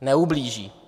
Neublíží.